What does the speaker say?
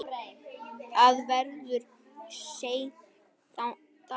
Það verður seint þakkað.